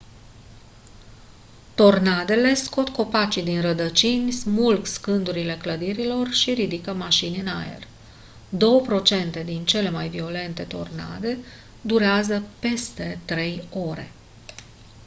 tornadele scot copacii din rădăcini smulg scândurile clădirilor și ridică mașini în aer două procente din cele mai violente tornade durează peste trei ore